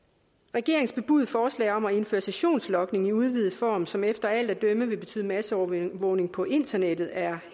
regeringens bebudede forslag om at indføre sessionslogning i udvidet form som efter alt at dømme vil betyde masseovervågning på internettet er